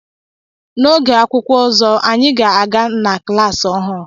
N'oge akwụkwọ ọzọ anyị ga-aga na kilasị ọhụụ